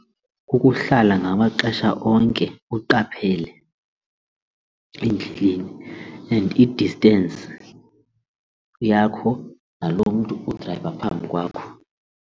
Kukuhlala ngamaxesha onke uqaphele endlini and i-distance yakho nalo mntu udrayiva phambi kwakho.